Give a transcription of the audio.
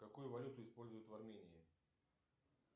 какую валюту используют в армении